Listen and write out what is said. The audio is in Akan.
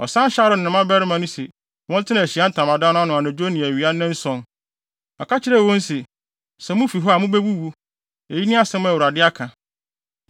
Ɔsan hyɛɛ Aaron ne ne mmabarima no sɛ wɔntena Ahyiae Ntamadan no ano anadwo ne awia nnanson. Ɔka kyerɛɛ wɔn se, ‘Sɛ mufi hɔ a, mubewuwu. Eyi ne asɛm a Awurade aka.’ ”